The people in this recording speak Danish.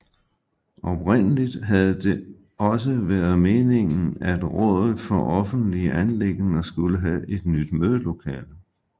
Oprindeligt havde det også været meningen at rådet for offentlige anliggender skulle have et nyt mødelokale